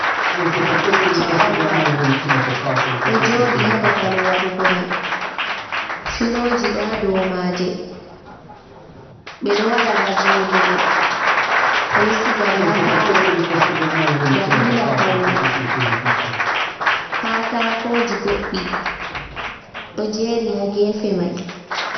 Korowal ɗo jooɗi ha babal waɗugo mai, filoji ɗo ha dou maje, ɓe ɗo waɗa nga joɗugo, ɓe ɗo sigaɗe ha paalo dalila paune, kaatakoji goɗɗi ɗo jeeri ha gefe mai.